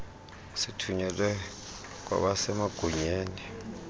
sithunyelwe kwabase magunyeni